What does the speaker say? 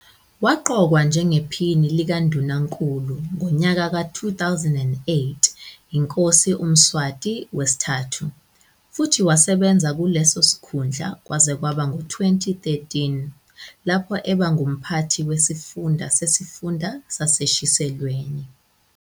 Waqokwa njengePhini likaNdunankulu ngonyaka ka-2008 yiNkosi uMswati III futhi wasebenza kuleso sikhundla kwaze kwaba ngu-2013, lapho eba ngumphathi wesifunda sesifunda saseShiselweni.